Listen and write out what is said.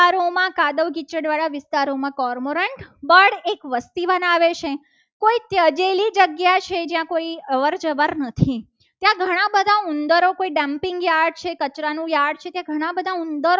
કાદવ કિચડ વાળા વિસ્તારોમાં કર મંડળ એક વસ્તી બનાવે છે. કે કોઈ તજેલી જગ્યા છે જ્યાં કોઈ અવર-જવર નથી ત્યાં ઘણા બધા ઉંદરો છે. dumping યાદ છે. કચરા નું યાદ છે કે ઘણા બધા ઉંદરો